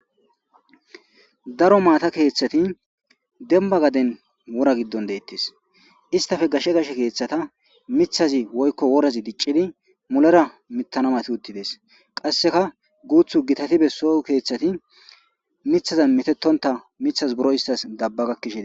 Daro maata keeththati demba gaden wora giddon deettees, istappe gashe keeththaza miththazi woykko worazi diccidi mulera mittana mati uttides, qasseka guuththu gitati besso keeththati miththazi mittonna dabbe gakkishe dees.